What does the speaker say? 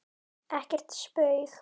Ekkert spaug